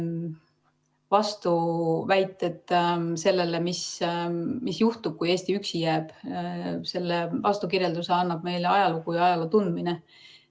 Vastuväited sellele, vastukirjelduse, mis juhtub, kui Eesti üksi jääb, annab meile ajalugu ja ajaloo tundmine.